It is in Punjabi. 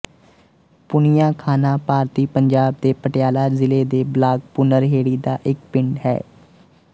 ਪੂਨੀਆਂ ਖਾਨਾ ਭਾਰਤੀ ਪੰਜਾਬ ਦੇ ਪਟਿਆਲਾ ਜ਼ਿਲ੍ਹੇ ਦੇ ਬਲਾਕ ਭੁਨਰਹੇੜੀ ਦਾ ਇੱਕ ਪਿੰਡ ਹੈ